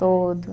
Todo.